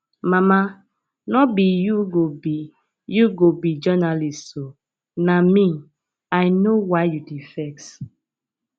mama no be you go be you go be journalist oo na me i no know why you dey vex